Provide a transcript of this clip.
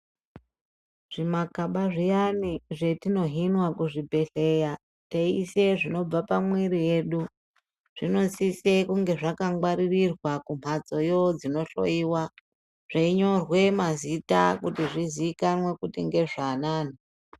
Zvimakaba zviyani zvetinohinwa kuzvibhedhlera teiise zvinobva pamwiri yedu zvinosisa kunge zvakangwaririrwa kumbatsoyo dzinohloiwa zveinyorwe mazita kuti zvizikanwe kuti ngezvaanani.